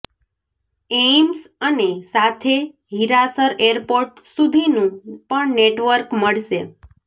AIIMS અને સાથે Hirasar airport સુધીનું પણ નેટવર્ક મળશે